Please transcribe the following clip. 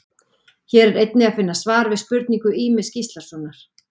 Hér er einnig að finna svar við spurningu Ýmis Gíslasonar: